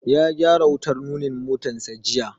Ya gyara wutar nunin motansa jiya.